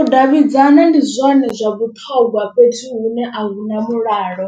U davhidzana ndi zwone zwa vhuṱhogwa fhethu hune ahuna mulalo.